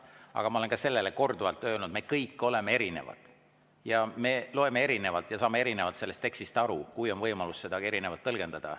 Aga ma olen selle kohta korduvalt ka öelnud: me kõik oleme erinevad, me loeme seda teksti erinevalt ja saame sellest erinevalt aru, kui on võimalus seda erinevalt tõlgendada.